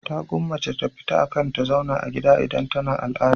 Ta gwammace ta fita akan ta zauna a gida idan tana al'ada.